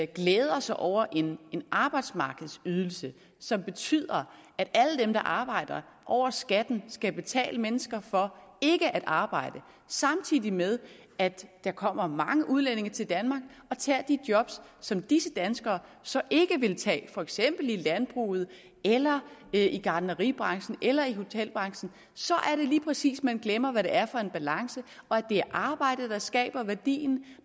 glæder sig over en arbejdsmarkedsydelse som betyder at alle dem der arbejder over skatten skal betale mennesker for ikke at arbejde samtidig med at der kommer mange udlændinge til danmark og tager de job som disse danskere så ikke vil tage for eksempel i landbruget eller i gartneribranchen eller i hotelbranchen så er det lige præcis man glemmer hvad det er for en balance og at det er arbejdet der skaber værdien